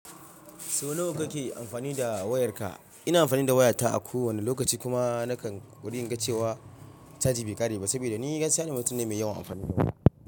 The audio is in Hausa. Sau nawa kake amfani da wayarka? Ina amfani da wayata a kowane lokaci kuma nakan kokari in ga cewa caji bai ƙare ba, saboda ni gaskiya na mutum ne mai yawan amfani da waya.